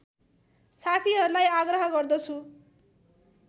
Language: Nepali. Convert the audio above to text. साथीहरूलाई आग्रह गर्दछु